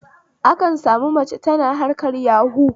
Akan sami mace tana harkar yahu